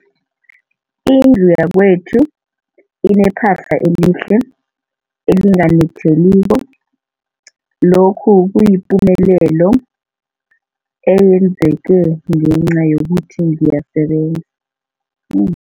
Indlu yakwethu inephahla elihle, elinganetheliko, lokhu kuyipumelelo eyenzeke ngenca yokuthi ngiyasebenza.